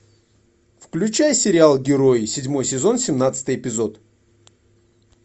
включай сериал герои седьмой сезон семнадцатый эпизод